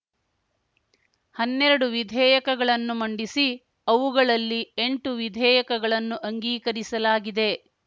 ಹನ್ನೆರಡು ವಿಧೇಯಕಗಳನ್ನು ಮಂಡಿಸಿ ಅವುಗಳಲ್ಲಿ ಎಂಟು ವಿಧೇಯಕಗಳನ್ನು ಅಂಗೀಕರಿಸಲಾಗಿದೆ